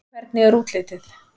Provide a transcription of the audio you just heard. Hvernig er útlitið?